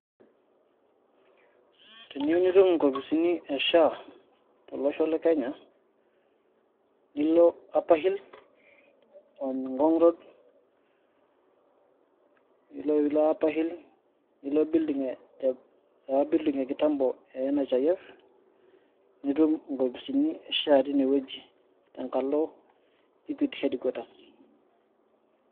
Tiniyiu nitum inkopisini e SHA tolosho le Kenya nilo Upper Hill, Ngong' road. Ore piilo Upper Hill niilo enoopa building e kitaambO e NHIF nitum inkopisini e SHA teine wueji tenkalo e Equity headquaters.